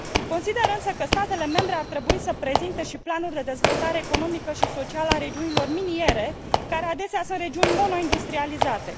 Consider, însă, că statele membre ar trebui să prezinte și planuri de dezvoltare economică și socială a regiunilor miniere, care adesea sunt regiuni monoindustrializate.